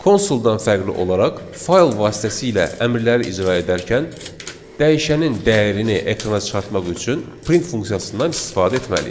Konsuldan fərqli olaraq fayl vasitəsilə əmrləri icra edərken dəyişənin dəyərini ekrana çıxartmaq üçün print funksiyasından istifadə etməliyik.